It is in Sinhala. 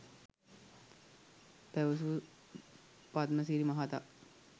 පැවසූ පද්මසිරි මහතා